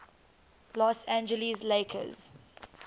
los angeles lakers